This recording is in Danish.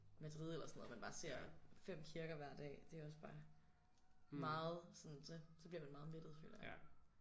Madrid eller sådan noget og man bare ser 5 kirker hver dag det er også bare meget sådan så så bliver man meget mættet føler jeg